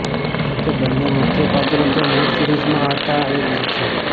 જો કે બંને મુખ્ય પાત્રો તો મૂળ સિરિઝમાં હતાં એ જ છે